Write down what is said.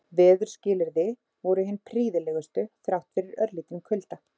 Veðurskilyrði voru hin prýðilegustu þrátt fyrir örlítinn kulda.